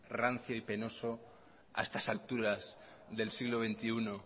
rancio y penoso a estas alturas del siglo veintiuno